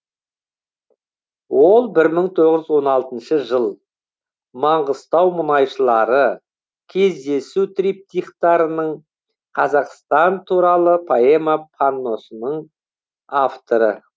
ол бір мың тоғыз жүз он алтыншы жыл маңғыстау мұнайшылары кездесу триптихтарының қазақстан туралы поэма панносының авторы